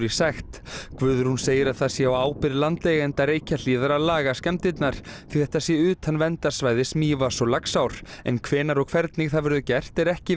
sekt Guðrún segir að það sé á ábyrgð landeigenda Reykjahlíðar að laga skemmdirnar því þetta sé utan verndarsvæðis Mývatns og Laxár en hvenær og hvernig það verður gert er ekki